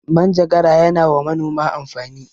Manjagara ya na wa manoma amfani